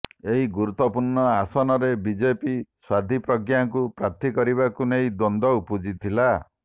ଏହି ଗୁରୁତ୍ବପୂର୍ଣ୍ଣ ଆସନରେ ବିଜେପି ସାଧ୍ବୀ ପ୍ରଜ୍ଞାଙ୍କୁ ପ୍ରାର୍ଥୀ କରିବାକୁ ନେଇ ଦ୍ବନ୍ଦ୍ବ ଉପୁଜିଥିଲା